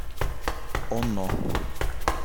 оно